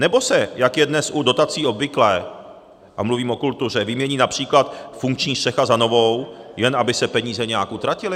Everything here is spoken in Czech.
Nebo se, jak je dnes u dotací obvyklé, a mluvím o kultuře, vymění například funkční střecha za novou, jen aby se peníze nějak utratily?